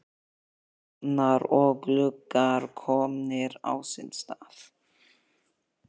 Bæði ofnar og gluggar komnir á sinn stað.